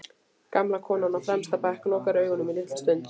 Gamla konan á fremsta bekk lokar augunum litla stund.